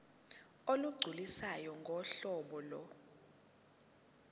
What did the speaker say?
olugculisayo ngohlobo lo